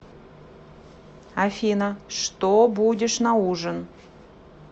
афина что будешь на ужин